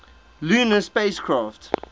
lunar spacecraft